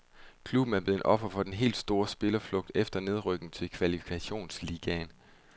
Klubben er blevet offer for den helt store spillerflugt efter nedrykningen til kvalifikationsligaen.